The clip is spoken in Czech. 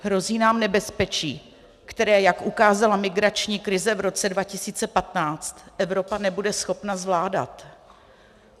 Hrozí nám nebezpečí, které, jak ukázala migrační krize v roce 2015, Evropa nebude schopna zvládat.